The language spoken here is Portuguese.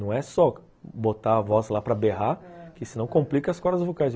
Não é só botar a voz lá para berrar, que senão complica as cordas vocais.